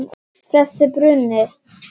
Þessi bruni.